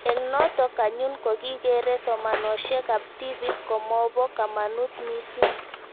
Eng' notok anyun ko kikere somanoshek ab tipik komopo kamanut mising'